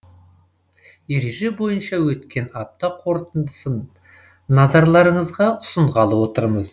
ереже бойынша өткен апта қорытындысын назарларыңызға ұсынғалы отырмыз